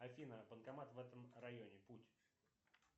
афина банкомат в этом районе путь